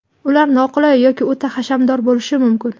Ular noqulay yoki o‘ta hashamdor bo‘lishi mumkin.